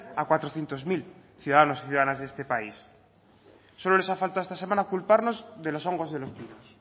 a cuatrocientos mil ciudadanos y ciudadanas de este país solo les ha faltado esta semana culparnos de los hongos de los pinos